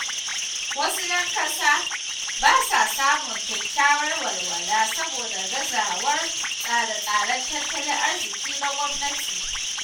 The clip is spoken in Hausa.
Wasu ‘yan ƙasa ba sa samun kyakkyawar walwala saboda gazawar tsare-tsaren tattalin arziƙi na gwamnati.